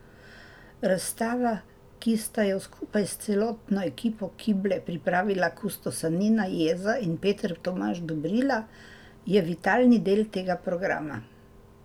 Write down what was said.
Razstava, ki sta jo skupaj s celotno ekipo Kible pripravila kustosa Nina Jeza in Peter Tomaž Dobrila, je vitalni del tega programa.